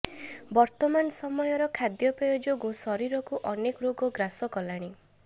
ବର୍ତ୍ତମାନ ସମୟର ଖାଦ୍ୟପେୟ ଯୋଗୁଁ ଶରୀରକୁ ଅନେକ ରୋଗ ଗ୍ରାସ କଲାଣି